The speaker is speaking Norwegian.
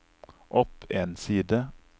opp en side